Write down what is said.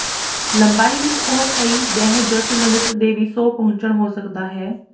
ਲੰਬਾਈ ਵਿਚ ਉਹ ਕਈ ਦਹਿ ਜ ਕਿਲੋਮੀਟਰ ਦੇ ਵੀ ਸੌ ਪਹੁੰਚਣ ਹੋ ਸਕਦਾ ਹੈ